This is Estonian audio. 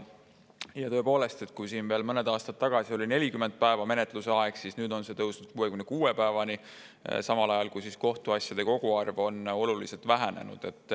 Tõepoolest, kui siin veel mõned aastad tagasi oli keskmine menetluse aeg 40 päeva, siis nüüd on see pikenenud 66 päevani, samal ajal kui kohtuasjade koguarv on oluliselt vähenenud.